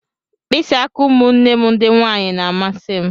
Mkpịsị aka ụmụnne m ndị nwanyị na-amasị m.